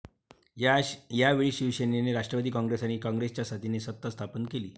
यावेळी शिवसेनेने राष्ट्रवादी काँग्रेस आणि काँग्रेसच्या साथीने सत्ता स्थापन केली.